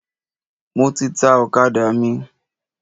Mo ti ta ọ̀kadà mi.